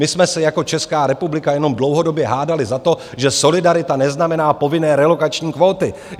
My jsme se jako Česká republika jenom dlouhodobě hádali za to, že solidarita neznamená povinné relokační kvóty.